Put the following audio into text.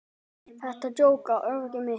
Þetta jók á óöryggi mitt.